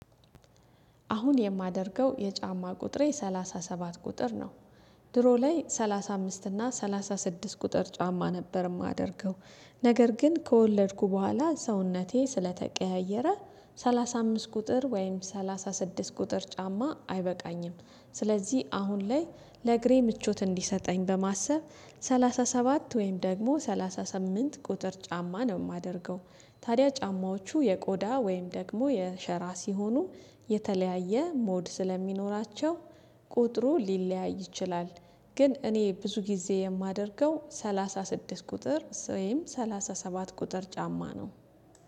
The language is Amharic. አሁን የማደርገው የጫማ ቁጥሬ ሰላሳ ሰባት ቁጥር ነው። ድሮ ላይ ሰላሳ አምስት እና ሰላሳ ስድስት ቁጥር ጫማ ነበር የማደርገው። ነገር ግን ከወለድኩ በኋላ ሰውነቴ ስለተቀያየረ ሰላሳ አምስት ቁጥር ወይም ሰላሳ ስድስት ቁጥር ጫማ አይበቃኝም። ስለዚህ አሁን ላይ ለእግሬ ምቾት እንዲሰጠኝ በማሰብ ሰላሳ ሰባት ወይም ደግሞ ሰላሳ ስምንት ቁጥር ጫማ ነው የማደርገው። ታዲያ ጫማዎቹ የቆዳ ወይም ደግሞ የሸራ ሲሆኑ የተለያየ ሞድ ስለሚኖራቸው ቁጥሩ ሊለያይ ይችላል። ግን እኔ ብዙ ጊዜ የማደርገው ሰላሳ ስድስት ቁጥር ስዌም ሰላሳ ሰባት ቁጥር ጫማ ነው